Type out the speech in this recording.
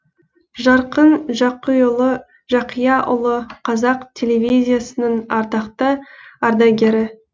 жарқын жақияұлы қазақ телевизиясының ардақты ардагері